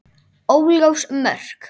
Óljós mörk.